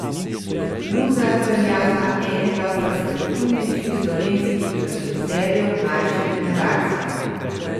Luzar velja za enega perspektivnejših slovenskih režiserjev mlajše generacije.